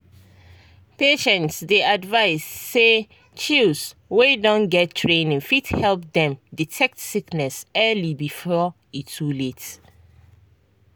patients dey advised say chws wey don get training fit help dem detect sickness early before e too late.